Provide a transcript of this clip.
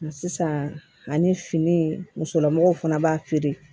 Nka sisan ani fini musolamɔgɔw fana b'a feere